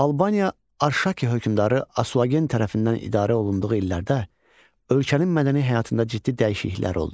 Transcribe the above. Albaniya Arşaki hökmdarı Asuagen tərəfindən idarə olunduğu illərdə ölkənin mədəni həyatında ciddi dəyişikliklər oldu.